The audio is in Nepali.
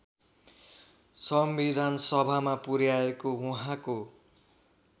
संविधानसभामा पुर्‍याएको उहाँको